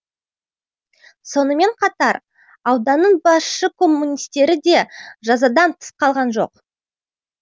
сонымен қатар ауданның басшы коммунистері де жазадан тыс қалған жоқ